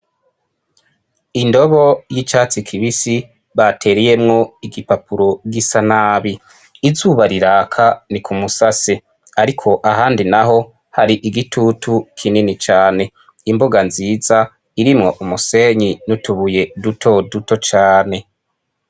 Indobo y'icatsi kibisi batereyemwo igipapuro gisa nabi. Izuba riraka, ni kumusase ariko ahandi n'aho hari igitutu kinini cane. Imbuga nziza irimwo umusenyi n'utubuye dutoduto cane.